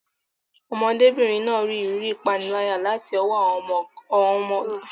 Ọmọdébìnrin náà rí ìrírí ìpániláyà láti ọwọ́ àwọn ọmọdébìnrin kan ní ilé ìwé.